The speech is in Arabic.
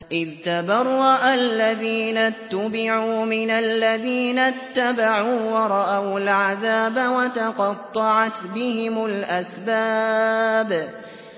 إِذْ تَبَرَّأَ الَّذِينَ اتُّبِعُوا مِنَ الَّذِينَ اتَّبَعُوا وَرَأَوُا الْعَذَابَ وَتَقَطَّعَتْ بِهِمُ الْأَسْبَابُ